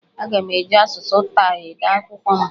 Aga m eji asụsụ Taị ede akwụkwọ m.